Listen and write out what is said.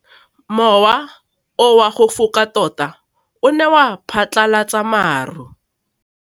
Mowa o wa go foka tota o ne wa phatlalatsa maru.